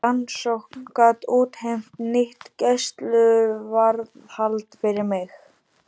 Rannsókn gat útheimt nýtt gæsluvarðhald fyrir mig.